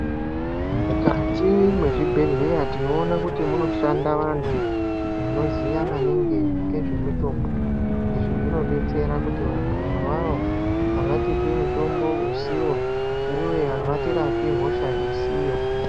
Mukati mwezvibhehleya tinoona kuti munoshanda vantu vanoziya maningi ngezvemitombo izvi zvinodetsera kuti vantu avavo avatipi mutombo usiwo uye avatirapi hosha isiyo.